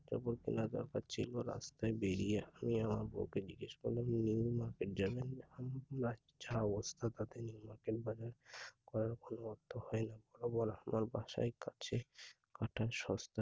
পর্যন্ত লাগল পাচ্ছিলো না, তাই বেরিয়ে তিনি আমার বৌকে জিজ্ঞেস করলেন বাসার কাছে একটা শ~